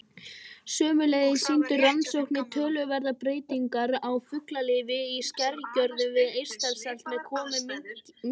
Sömuleiðis sýndu rannsóknir töluverðar breytingar á fuglalífi í skerjagörðum við Eystrasalt með komu minksins.